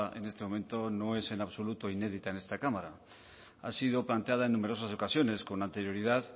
en este momento no es en absoluto inédita en esta cámara ha sido planteada en numerosas ocasiones con anterioridad